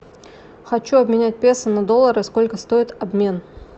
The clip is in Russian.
хочу обменять песо на доллары сколько стоит обмен